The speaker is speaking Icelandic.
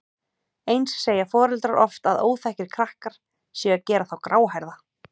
Eins segja foreldrar oft að óþekkir krakkar séu að gera þá gráhærða.